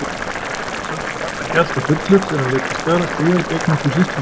Samt var pabbi ekki alltaf fullur þegar hann lét til skarar skríða gegn okkur systrunum.